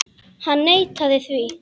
Hann neitaði því.